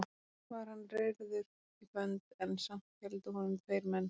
Var hann reyrður í bönd en samt héldu honum tveir menn.